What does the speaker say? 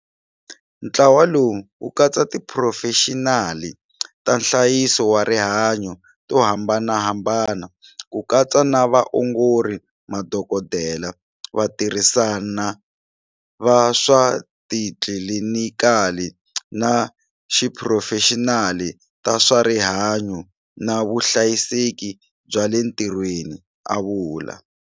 Ntlawa lowu wu katsa tiphurofexinali ta nhlayiso wa rihanyu to hambanahambana, ku katsa na vaongori, madokodela, vatirhisani va swa xitlilinikali, na tiphurofexinali ta swa rihanyu na vuhlayiseki bya le ntirhweni, a vula.